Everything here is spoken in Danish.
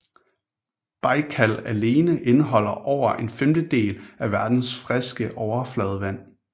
Bajkal alene indeholder over en femtedel af verdens friske overfladevand